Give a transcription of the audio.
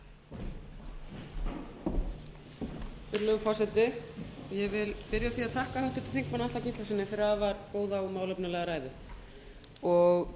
vil byrja á því að þakka háttvirtum þingmanni atla gíslasyni fyrir afar góða og málefnalega ræðu